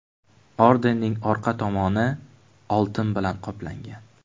Ordenning orqa tomoni oltin bilan qoplangan.